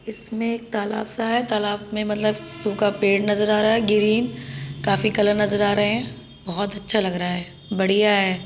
इसमें एक तालाब सा है तालाब में मतलब सूखा पेड़ नजर आ रहा है ग्रीन काफी कलर नजर आ रहा हैं। बहुत अच्छा लग रहा है बढ़िया है।